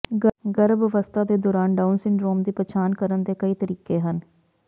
ਗਰਭ ਅਵਸਥਾ ਦੇ ਦੌਰਾਨ ਡਾਊਨ ਸਿੰਡਰੋਮ ਦੀ ਪਛਾਣ ਕਰਨ ਦੇ ਕਈ ਤਰੀਕੇ ਹਨ